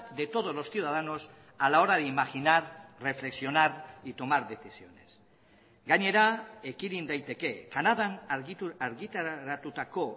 de todos los ciudadanos a la hora de imaginar reflexionar y tomar decisiones gainera ekidin daiteke canadan argitaratutako